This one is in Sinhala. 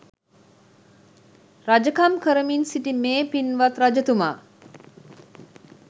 රජකම් කරමින් සිටි මේ පින්වත් රජතුමා